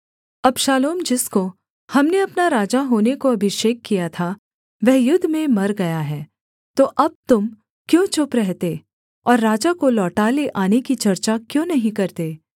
अबशालोम जिसको हमने अपना राजा होने को अभिषेक किया था वह युद्ध में मर गया है तो अब तुम क्यों चुप रहते और राजा को लौटा ले आने की चर्चा क्यों नहीं करते